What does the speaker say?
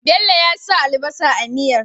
Bello ya sa albasa a miyar